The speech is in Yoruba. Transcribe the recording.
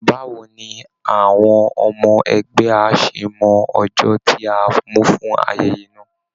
Báwo ni àwọn ọmọ ẹgbẹ́ á ṣe mọ ọjọ́ tí a mú fún ayẹyẹ náà?